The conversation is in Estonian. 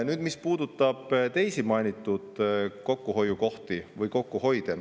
Nüüd see, mis puudutab teisi mainitud kokkuhoiukohti või kokkuhoide.